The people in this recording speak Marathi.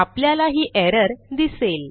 आपल्याला ही एरर दिसेल